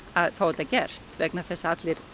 að fá þetta gert vegna þess að allir